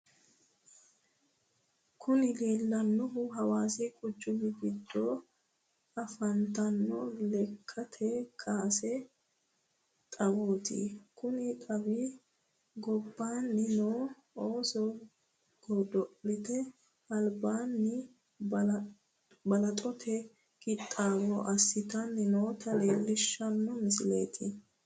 Kuni leellannohu hawaassi quchumi giddo afantanno lekkate kaase xawooti. Konni xawi gobbaanni noo ooso godo'lete albaanni balaxote qixxaawo assitanni noota leellishshano misileeti.